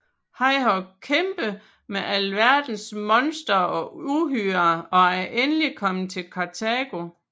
Han har kæmpet med alverdens monstre og uhyrer og er endelig kommet til Kartago